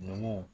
Ninnu